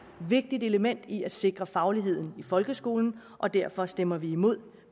vigtigt element i at sikre fagligheden i folkeskolen derfor stemmer vi imod